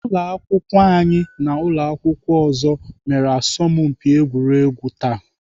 Ụlọakwụkwọ anyị na ụlọakwụkwọ ọzọ mere asọmpi egwuregwu taa